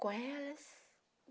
com elas.